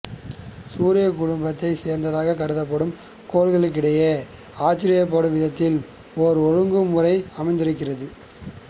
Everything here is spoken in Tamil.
சூரியக் குடும்பத்தைச் சேர்ந்ததாகக் கருதப்படும் கோள்களிடையே ஆச்சரியப்படும் விதத்தில் ஓர் ஒழுங்குமுறை அமைந்திருக்கின்றது